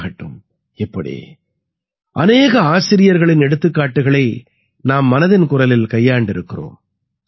K ஆகட்டும் இப்படி அநேக ஆசிரியர்களின் எடுத்துக்காட்டுகளை நாம் மனதின் குரலில் கையாண்டிருக்கிறோம்